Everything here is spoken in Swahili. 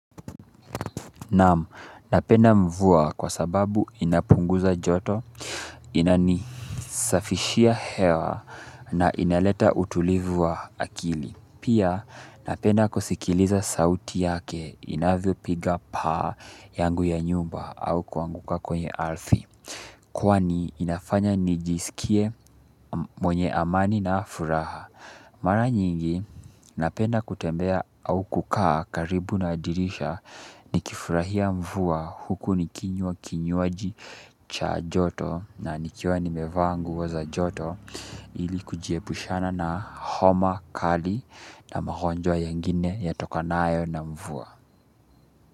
Naam, napenda mvua kwa sababu inapunguza joto ina nisafishia hewa na inaleta utulivu wa akili pia napenda kusikiliza sauti yake inavyopiga paa yangu ya nyumba au kuanguka kwenye ardhi kwani inafanya nijisikie mwenye amani na furaha mara nyingi napenda kutembea au kukaa karibu na dirisha kifurahia mvua huku nikinywa kinywaji cha joto na nikiwa nimevaa nguo za joto ili kujiepushana na homa kali na magonjwa yengine yatokanayo na mvua.